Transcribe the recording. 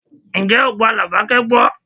Ǹjẹ́ o gba Labake gbọ́?